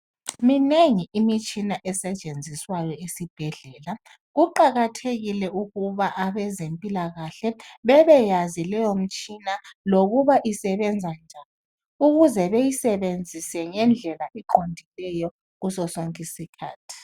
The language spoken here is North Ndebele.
Minengi imitshina esetshenziswayo esibhedlela, kuqakathekile ukuba abezempilakahle bebeyazi leyomtshina lokuba isebenza njani ukuze beyisebenzise ngendlela eqondileyo kuso sonke isikhathi